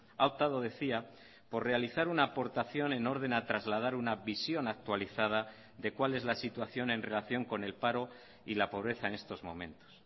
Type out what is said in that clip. ha optado decía por realizar una aportación en orden a trasladar una visión actualizada de cual es la situación en relación con el paro y la pobreza en estos momentos